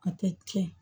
A tɛ tiɲɛ